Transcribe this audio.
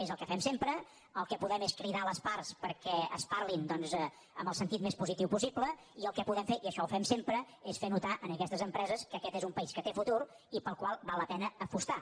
és el que fem sempre el que podem fer és cridar les parts perquè es parli doncs en el sentit més positiu possible i el que podem fer i això ho fem sempre és fer notar a aquestes empreses que aquest és un país que té futur i pel qual val la pena apostar